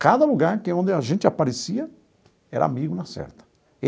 Cada lugar que onde a gente aparecia era amigo na certa.